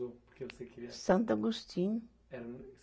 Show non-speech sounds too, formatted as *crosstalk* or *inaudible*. Porque você queria. Santo Agostinho. Era *unintelligible*